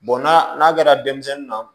n'a kɛra denmisɛnnin na